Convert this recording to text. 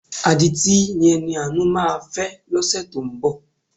Adití ni Ẹniàánú máa fẹ́ lọ́sẹ̀ tó ń bọ̀.